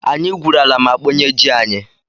Anyị gwuru ala ma kpọnye ji anyị.